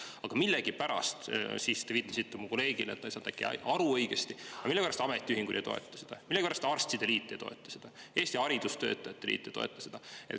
Aga millegipärast – te viitasite mu kolleegile, et äkki ta ei saanud õigesti aru – ametiühingud ei toeta seda, millegipärast arstide liit ei toeta seda, haridustöötajate liit ei toeta seda.